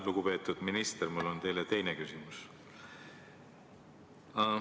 Lugupeetud minister, mul on teile teine küsimus.